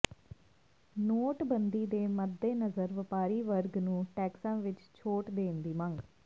ਨੋਟਬੰਦੀ ਦੇ ਮੱਦੇਨਜ਼ਰ ਵਪਾਰੀ ਵਰਗ ਨੂੰ ਟੈਕਸਾਂ ਵਿੱਚ ਛੋਟ ਦੇਣ ਦੀ ਮੰਗ